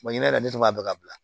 yɛrɛ de tun b'a bɛɛ ka bila